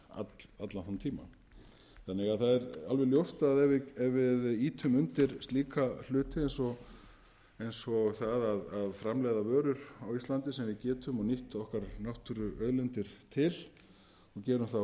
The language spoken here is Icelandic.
er alveg ljóst að ef við ýtum undir slíka hluti eins og það að framleiða vörur á íslandi sem við getum nýtt okkar náttúruauðlindir til og gerum það á